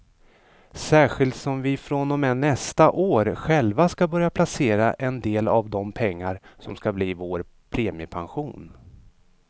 Särskilt som vi från och med nästa år själva ska börja placera en del av de pengar som ska bli vår premiepension.